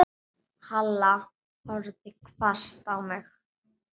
Halla horfði hvasst á mig.